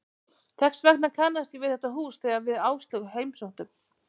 Þess vegna kannaðist ég við þetta hús þegar við Áslaug heimsóttum